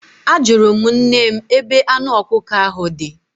Ajụrụ m nne m ebe anụ ọkụkọ ahụ dị.